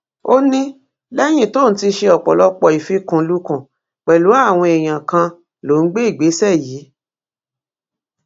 ó ní lẹyìn tóun ti ṣe ọpọlọpọ ìfikùnlukùn pẹlú àwọn èèyàn kan lòún gbé ìgbésẹ yìí